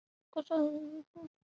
Stefán Máni er engum líkur.